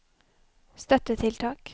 støttetiltak